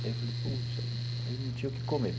Aí eu falei, puxa, aí não tinha o que comer.